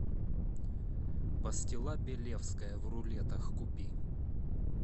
пастила белевская в рулетах купи